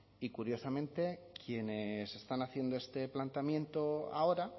y curiosamente quienes están haciendo este planteamiento ahora